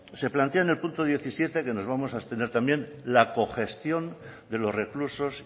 se plantea en el punto diecisiete que nos vamos a abstener también la congestión de los reclusos